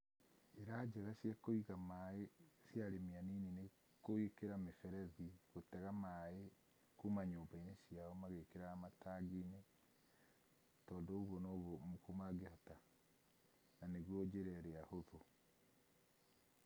Njĩra njega cia kũiga maĩ cia arĩmi anini nĩ kũhingĩra mĩberethi, kũhingĩra maĩ kuma nyũmba-inĩ ciao magĩkĩraga matangi-inĩ. Tondũ ũguo naguo mangĩhota na nĩguo njĩra ĩrĩa hũthũ.